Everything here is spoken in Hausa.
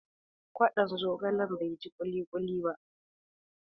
Kwaɗon zogalen bai ji kuli kuli ba.